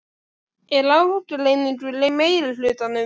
Er ágreiningur í meirihlutanum?